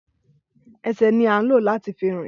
Ẹsẹ ni a o lo lati fi rìn